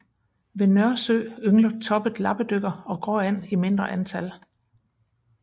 Ved Nørresø yngler toppet lappedykker og gråand i mindre antal